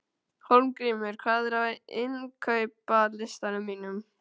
Hólmgrímur, hvað er á innkaupalistanum mínum?